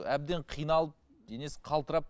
әбден қиналып денесі қалтырап